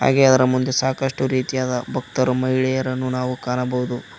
ಹಾಗೆ ಅದರ ಮುಂದೆ ಸಾಕಷ್ಟು ರೀತಿಯಾದ ಭಕ್ತರು ಮಹಿಳೆಯರನ್ನು ನಾವು ಕಾಣಬಹುದು.